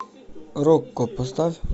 рокко поставь